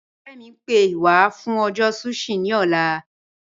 Ọ̀rẹ̀ mi, ń pẹ́ wà fún ọjọ́ sushi ni ọ̀là.